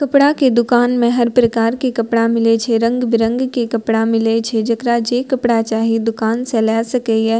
कपड़ा के दुकान में हर प्रकार के कपड़ा मिलय छै रंग-बिरंग के कपड़ा मिलय छै जेकरा जे कपड़ा चाही दुकान से लेए सकय ये।